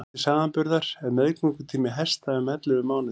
til samanburðar er meðgöngutími hesta um ellefu mánuðir